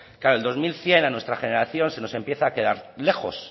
claro el dos mil cien a nuestra generación se nos empieza a quedar lejos